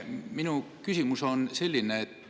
Minu küsimus on selline.